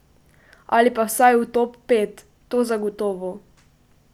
Ali pa vsaj v top pet, to zagotovo.